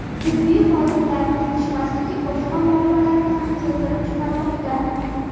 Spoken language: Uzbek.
Tibbiy xodimlarning yetishmasligi boshqa muammolarni ham keltirib chiqarmoqda.